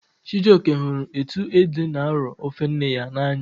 Chijioke hụrụ etu ede n'arọ ofe nne ya n'anya